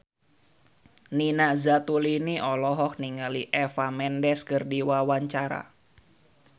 Nina Zatulini olohok ningali Eva Mendes keur diwawancara